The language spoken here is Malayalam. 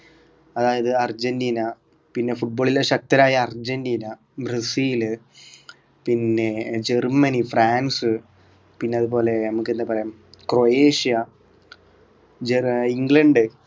അതായത് അർജന്റീന പിന്നെ football ൽ ശക്തരായ അർജന്റീന ബ്രസീൽ പിന്നെ ജർമ്മനി ഫ്രാൻസ് പിന്നെ അതുപോലെ നമുക്കെന്താ പറയാം ക്രൊയേഷ്യ ജർ ഇംഗ്ലണ്ട്